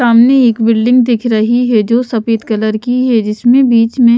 सामने एक बिल्डिंग दिख रही है जो सफेद कलर की है जिसमें बीच में--